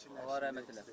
Allah rəhmət eləsin.